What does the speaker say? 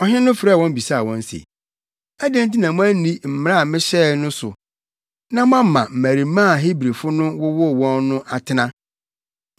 Ɔhene no frɛɛ wɔn bisaa wɔn se, “Adɛn nti na moanni mmara a mehyɛe no so na moama mmarimaa a Hebrifo no wowoo wɔn no atena?”